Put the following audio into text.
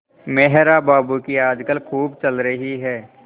मेहरा बाबू की आजकल खूब चल रही है